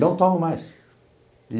Não tomo mais.